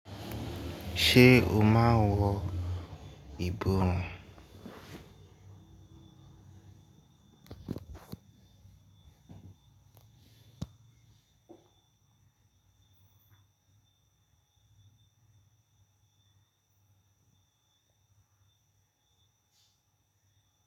Ṣé o máa wọ ìbòrun?